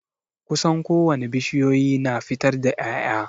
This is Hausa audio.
Kusan ko wane bishiyoyi na fitar da ya'ya.